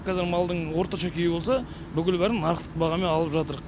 қазір малдың орташа күйі болса бүкіл бәрін нарықтық бағамен алып жатырқ